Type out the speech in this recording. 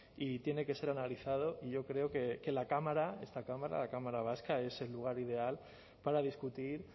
y tiene que ser analizado y yo creo que la cámara esta cámara la cámara vasca es el lugar ideal para discutir